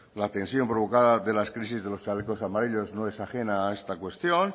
la tensión provocada de las crisis de los chalecos amarillos no es ajena a esta cuestión